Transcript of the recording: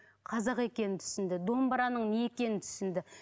қазақ екенін түсінді домбыраның не екенін түсінді